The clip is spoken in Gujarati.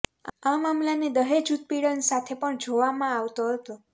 આ મામલાને દહેજ ઉત્પીડન સાથે પણ જોવામાં આવતો હતો